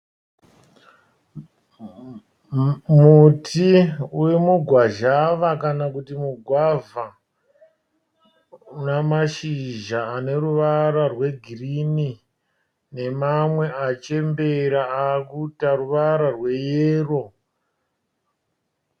Muti urimugwazhava kana kuti mugwavha. Unamashizha aneruvara rwegirinhi nemamwe achembera akuita ruvara rweyero.